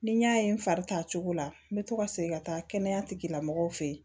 Ni n y'a ye n fari ta cogo la n bɛ to ka segin ka taa kɛnɛya tigilamɔgɔw fɛ yen